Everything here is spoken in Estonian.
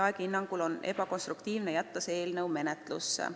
Aegi hinnangul on ebakonstruktiivne jätta see eelnõu menetlusse.